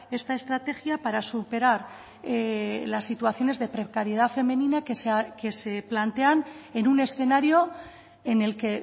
esta estrategia para superar las situaciones de precariedad femenina que se plantean en un escenario en el que